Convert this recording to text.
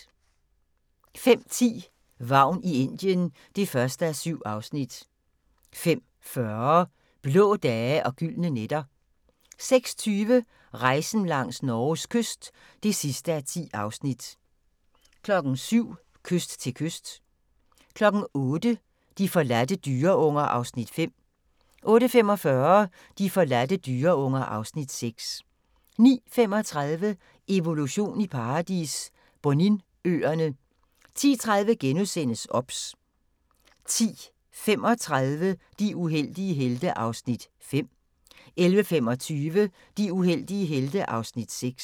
05:10: Vagn i Indien (1:7) 05:40: Blå dage og gyldne nætter 06:20: Rejsen langs Norges kyst (10:10) 07:00: Kyst til kyst 08:00: De forladte dyreunger (Afs. 5) 08:45: De forladte dyreunger (Afs. 6) 09:35: Evolution i paradis – Boninøerne 10:30: OBS * 10:35: De uheldige helte (Afs. 5) 11:25: De uheldige helte (Afs. 6)